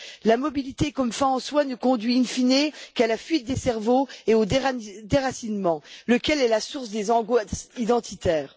La mobilité comme une fin en soi ne conduit in fine qu'à la fuite des cerveaux et au déracinement, lequel est la source des angoisses identitaires.